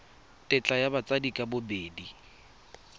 tetla ya batsadi ka bobedi